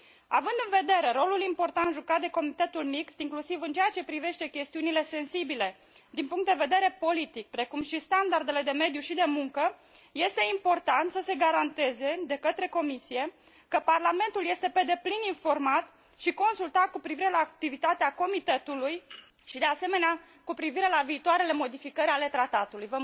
Având în vedere rolul important jucat de Comitetul mixt, inclusiv în ceea ce privește chestiunile sensibile din punct de vedere politic, precum și standardele de mediu și de muncă, este important să se garanteze de către Comisie că Parlamentul este pe deplin informat și consultat cu privire la activitatea Comitetului și, de asemenea, cu privire la viitoarele modificări ale tratatului.